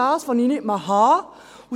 – Das kann ich nicht ausstehen.